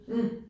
Mh